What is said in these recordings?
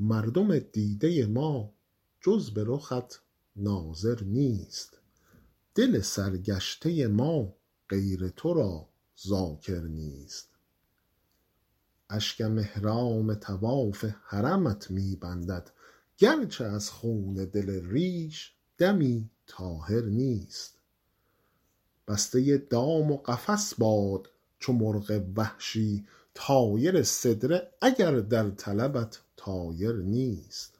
مردم دیده ما جز به رخت ناظر نیست دل سرگشته ما غیر تو را ذاکر نیست اشکم احرام طواف حرمت می بندد گرچه از خون دل ریش دمی طاهر نیست بسته دام و قفس باد چو مرغ وحشی طایر سدره اگر در طلبت طایر نیست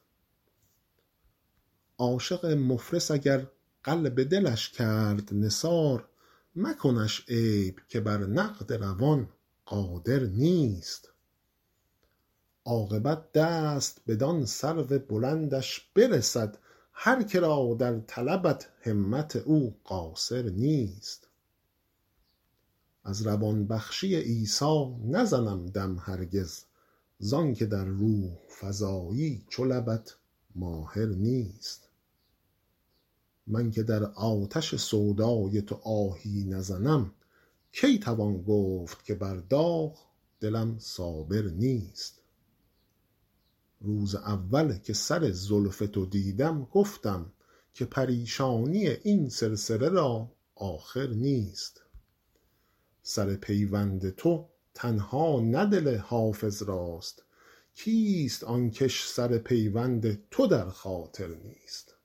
عاشق مفلس اگر قلب دلش کرد نثار مکنش عیب که بر نقد روان قادر نیست عاقبت دست بدان سرو بلندش برسد هر که را در طلبت همت او قاصر نیست از روان بخشی عیسی نزنم دم هرگز زان که در روح فزایی چو لبت ماهر نیست من که در آتش سودای تو آهی نزنم کی توان گفت که بر داغ دلم صابر نیست روز اول که سر زلف تو دیدم گفتم که پریشانی این سلسله را آخر نیست سر پیوند تو تنها نه دل حافظ راست کیست آن کش سر پیوند تو در خاطر نیست